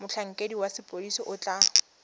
motlhankedi wa sepodisi o tla